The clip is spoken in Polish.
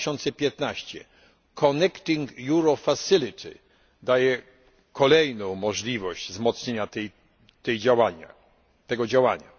2015. Connecting Europe Facility daje kolejną możliwość wzmocnienia tego działania.